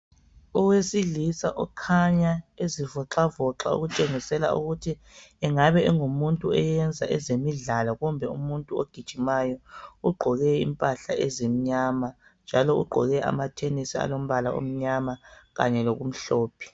Owesilisa okhanya ezivoxavoxa, okutshengisela ukuthi engabe engumuntu owenza ezemidlalo, kumbe umuntu ogijimayo. Ugqoke impahla ezimnyama, kanye njalo ugwoke amathenisi alombala omnyama kanye lokumhlophe.